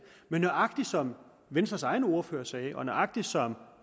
men nøjagtig som venstres egen ordfører sagde og nøjagtig som